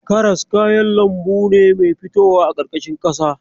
Karas kayan lambu ne mai fitowa a ƙarƙashin ƙasa.